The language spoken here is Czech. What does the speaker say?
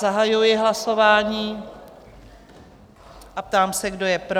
Zahajuji hlasování a ptám se, kdo je pro?